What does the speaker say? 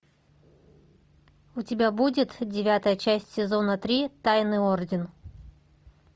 у тебя будет девятая часть сезона три тайный орден